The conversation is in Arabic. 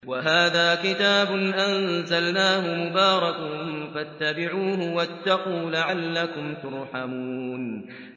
وَهَٰذَا كِتَابٌ أَنزَلْنَاهُ مُبَارَكٌ فَاتَّبِعُوهُ وَاتَّقُوا لَعَلَّكُمْ تُرْحَمُونَ